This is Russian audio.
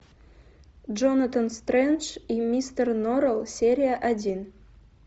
джонатан стрендж и мистер норрелл серия один